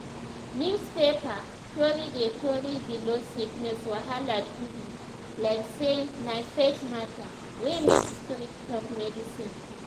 newspaper tori dey tori dey blow sickness wahala too big like say na faith matter wey make spirit help medicine too.